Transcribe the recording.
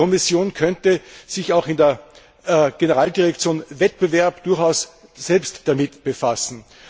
Die Kommission könnte sich auch in der Generaldirektion Wettbewerb durchaus selbst damit befassen.